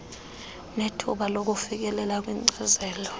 nethuba lokufikelela kwinkcazelo